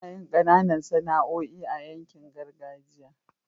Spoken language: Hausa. anayin Kananan Sana'oi a yankin gargajiya